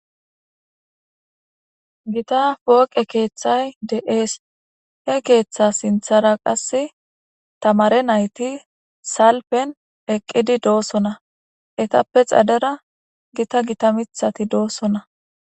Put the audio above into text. Gita pooqe keeththay de'ees he keeththa sinthara qasse tamare nayti salpen eqqidi doosona etappe xadera gita gita mithati doossona.